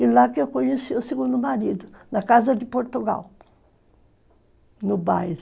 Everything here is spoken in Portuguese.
E lá que eu conheci o segundo marido, na casa de Portugal, no baile.